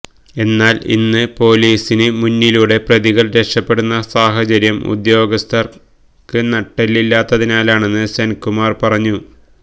എന്നാൽ ഇന്ന് പോലീസിന് മുന്നിലൂടെ പ്രതികൾ രക്ഷപ്പെടുന്ന സാഹചര്യം ഉദ്യോഗസ്ഥർക്ക് നട്ടെല്ലില്ലാത്തതിനാലാണെന്ന് സെൻകുമാർ പറഞ്ഞു